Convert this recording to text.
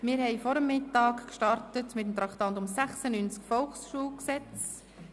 Vor dem Mittag haben wir mit dem Traktandum 96, Volksschulgesetz (VSG), begonnen.